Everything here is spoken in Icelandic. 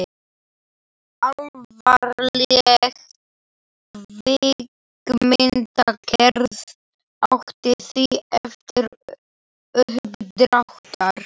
Alvarleg kvikmyndagerð átti því erfitt uppdráttar.